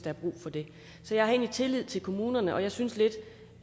er brug for det så jeg har egentlig tillid til kommunerne og jeg synes lidt